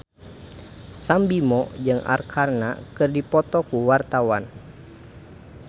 Sam Bimbo jeung Arkarna keur dipoto ku wartawan